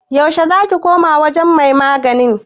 yaushe za ki koma wajen mai magani?